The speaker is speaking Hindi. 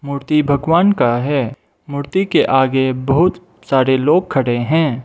मूर्ति भगवान का है मूर्ति के आगे बहुत सारे लोग खड़े हैं।